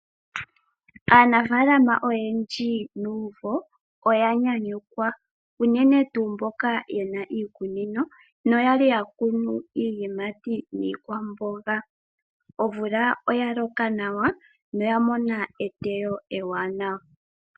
Aanafalama oyendji nuumvo oya nyanyukwa uunene tuu mboka yena iikunino no yali yakunu iiyimati niikwamboga. Omvula oya loka nawa yo oyamona eteyo ewanawa.